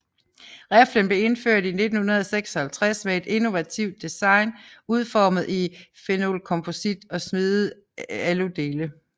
Riflen blev indført i 1956 med et innovativt design udformet i phenolkomposit og smedede aludele